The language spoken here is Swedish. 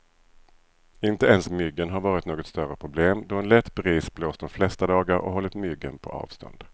Inte ens myggen har varit något större problem, då en lätt bris blåst de flesta dagar och hållit myggen på avstånd.